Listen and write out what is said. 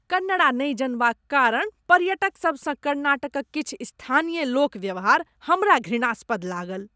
कन्नड्डा नहि जनबाक कारण पर्यटकसभसँ कर्नाटकक किछु स्थानीय लोक व्यवहार हमरा घृणास्पद लागल।